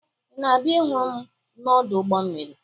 Ị na-abịa ịhụ m n'ọdụ ụgbọ mmiri?